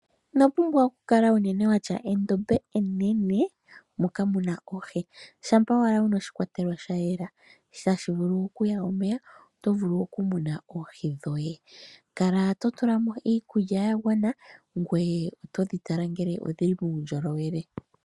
Ino pumbwa unene oku kala watya endombe enene moka muna oohi, shampa owala wuna oshikwatelwa sha yela, tashi vulu oku ya omeya oto vulu oku muna oohi dhoye. Kala to tula mo iikulya ya gwana, ngoye oto dhi tala ngele odhili muundjolowele.